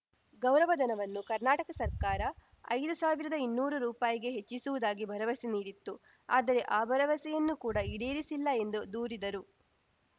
ಗೌರವಧನವನ್ನು ಕರ್ನಾಟಕ ಸರ್ಕಾರ ಐದು ಸಾವಿರದಾಇನ್ನೂರು ರೂಪಾಯಿ ಗೆ ಹೆಚ್ಚಿಸುವುದಾಗಿ ಭರವಸೆ ನೀಡಿತ್ತು ಆದರೆ ಆ ಭರವಸೆಯನ್ನು ಕೂಡ ಈಡೇರಿಸಿಲ್ಲ ಎಂದು ದೂರಿದರು